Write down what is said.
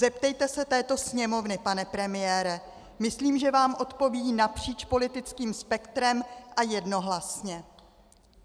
Zeptejte se této Sněmovny, pane premiére, myslím, že vám odpoví napříč politickým spektrem a jednohlasně.